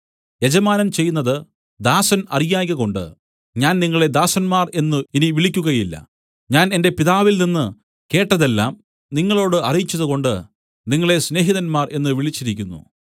യജമാനൻ ചെയ്യുന്നതു ദാസൻ അറിയായ്കകൊണ്ട് ഞാൻ നിങ്ങളെ ദാസന്മാർ എന്നു ഇനി വിളിക്കുകയില്ല ഞാൻ എന്റെ പിതാവിൽനിന്ന് കേട്ടത് എല്ലാം നിങ്ങളോട് അറിയിച്ചതുകൊണ്ട് നിങ്ങളെ സ്നേഹിതന്മാർ എന്നു വിളിച്ചിരിക്കുന്നു